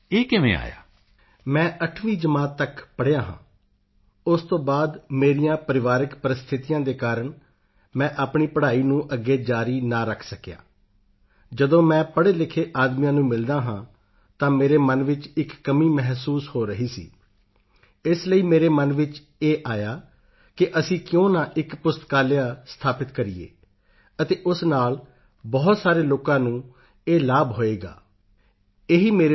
ਪੋਨ ਮਰਿਯੱਪਨ ਦੇ ਉੱਤਰ ਦਾ ਪੰਜਾਬੀ ਅਨੁਵਾਦ ਮੈਂ 8ਵੀਂ ਜਮਾਤ ਤੱਕ ਪੜ੍ਹਿਆ ਹਾਂ ਉਸ ਤੋਂ ਬਾਅਦ ਮੇਰੀਆਂ ਪਰਿਵਾਰਕ ਪ੍ਰਸਥਿਤੀਆਂ ਦੇ ਕਾਰਣ ਮੈਂ ਆਪਣੀ ਪੜ੍ਹਾਈ ਨੂੰ ਅੱਗੇ ਜਾਰੀ ਨਾ ਰੱਖ ਸਕਿਆ ਜਦੋਂ ਮੈਂ ਪੜ੍ਹੇਲਿਖੇ ਆਦਮੀਆਂ ਨੂੰ ਮਿਲਦਾ ਹਾਂ ਤਾਂ ਮੇਰੇ ਮਨ ਵਿੱਚ ਇੱਕ ਕਮੀ ਮਹਿਸੂਸ ਹੋ ਰਹੀ ਸੀ ਇਸ ਲਈ ਮੇਰੇ ਮਨ ਵਿੱਚ ਇਹ ਆਇਆ ਕਿ ਅਸੀਂ ਕਿਉਂ ਨਾ ਇੱਕ ਪੁਸਤਕਾਲਿਆ ਸਥਾਪਿਤ ਕਰੀਏ ਅਤੇ ਉਸ ਨਾਲ ਬਹੁਤ ਸਾਰੇ ਲੋਕਾਂ ਨੂੰ ਇਹ ਲਾਭ ਹੋਵੇਗਾ ਇਹੀ ਮੇਰੇ ਲਈ ਇੱਕ ਪ੍ਰੇਰਣਾ ਬਣੇ